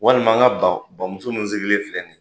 Walima n ka ba ba muso min sigilen filɛ nin ye